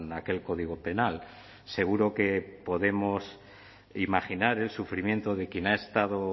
aquel código penal seguro que podemos imaginar el sufrimiento de quien ha estado